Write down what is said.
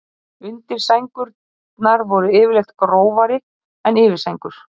undirsængurnar voru yfirleitt grófari en yfirsængur